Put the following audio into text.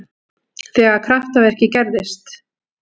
Þegar kraftaverkið gerðist.